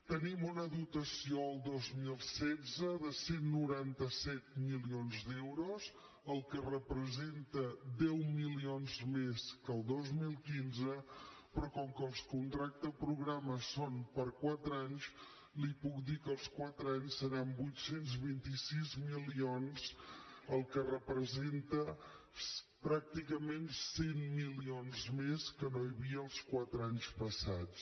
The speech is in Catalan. tenim una dotació al dos mil setze de cent i noranta set milions d’euros que representa deu milions més que el dos mil quinze però com que els contractes programes són per quatre anys li puc dir que els quatre anys seran vuit cents i vint sis milions que representa pràcticament cent milions més que no hi havia els quatre anys passats